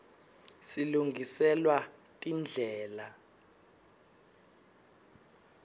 silungiselwa tindlela